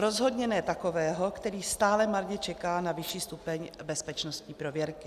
Rozhodně ne takového, který stále marně čeká na vyšší stupeň bezpečnostní prověrky.